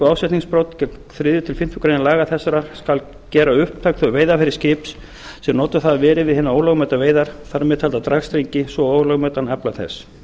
ásetningsbrot gegn þriðja til fimmtu grein laga þessara skal gera upptæk þau veiðarfæri skips sem notuð hafa verið við hinar ólögmætu veiðar þar með talda dragstrengi svo og ólögmætan afla þess